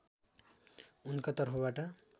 उनका तर्फबाट